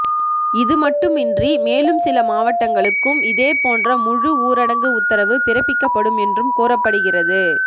இது மட்டுமின்றி மேலும் சில மாவட்டங்களுக்கும் இதே போன்ற முழு ஊரடங்கு உத்தரவு பிறப்பிக்கப்படும் என்றும் கூறப்படுகிறது